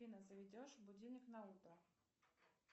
афина заведешь будильник на утро